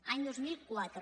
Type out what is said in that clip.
any dos mil quatre